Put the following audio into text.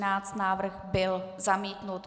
Návrh byl zamítnut.